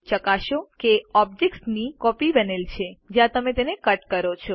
ચકાસો કે ઓબ્જેક્ટની કોપી બનેલ છે જયારે તમે તેને કટ કરો છો